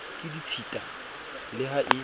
ke ditshita le ha e